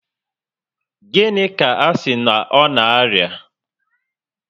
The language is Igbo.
Gịnị ka asị na ọ na aria?